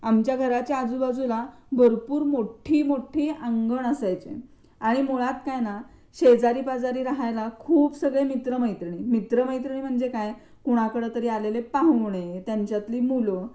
आमच्या घराच्या आजूबाजूला भरपूर मोठी मोठी अंगण असायचे आणि मुळात काय ना, शेजारीपाजारी रहायला खूप सगळे मित्र-मैत्रिणीही. मित्र मैत्रिणी म्हणजे काय कुणाकडेतरी आलेले पाहुणे, त्यांच्यातली मुलं.